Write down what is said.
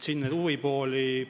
Siin on mitmeid huvipooli.